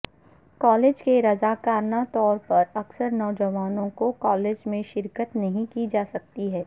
college کے رضاکارانہ طور پر اکثر نوجوانوں کو کالج میں شرکت نہیں کی جاسکتی ہے